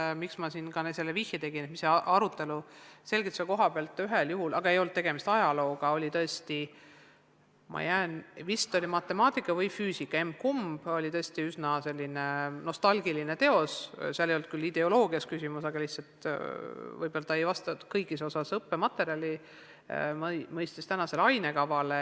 Põhjus, miks ma siin ka selle vihje andsin, on see, et sellel ühel juhul ei olnud tegemist ajalooga, oli vist matemaatika või füüsika, emb-kumb, kus kasutati sellist tõesti üsna nostalgilist teost, seal ei olnud küll küsimust ideoloogias, aga see õpik lihtsalt ei vastanud õppematerjaline kõigis osades kehtivale ainekavale.